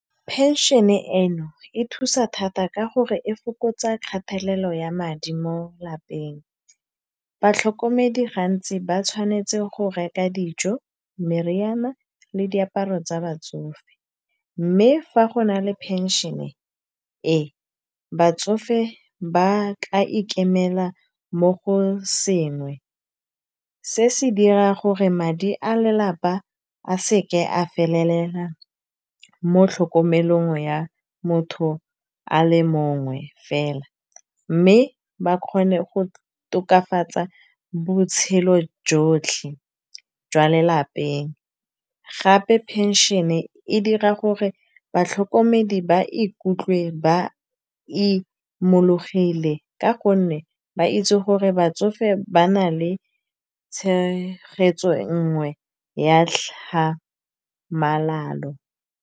Pension-e e no e thusa thata ka gore e fokotsa kgatelelo ya madi mo lapeng. Batlhokomedi gantsi ba tshwanetse go reka dijo, meriana le diaparo tsa batsofe. Mme fa go na le pension-e e, batsofe ba ka ikemela mo go sengwe, se se dirang gore madi a lelapa a seke a felela mo tlhokomelong ya motho a le mongwe fela. Mme ba kgone go tokafatsa botshelo jotlhe jwa lelapeng, gape phenšene e dira gore batlhokomedi ba ikutlwe ba imologile ka gonne, ba itse gore batsofe ba na le tshegetso nngwe ya tlhamalalo.